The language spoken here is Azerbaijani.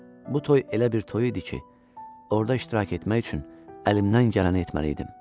Bu toy elə bir toy idi ki, orda iştirak etmək üçün əlimdən gələni etməliydim.